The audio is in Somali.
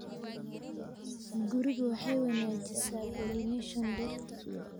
gurigu waxay wanaajisaa pollination dhirta